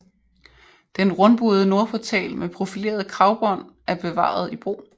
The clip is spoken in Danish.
Den rundbuede nordportal med profilerede kragbånd er bevaret i brug